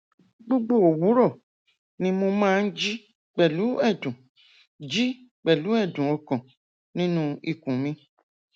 gbogbo òwúrọ ni mo máa ń jí pẹlú ẹdùn jí pẹlú ẹdùn ọkàn nínú ikùn mi